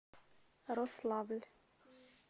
рославль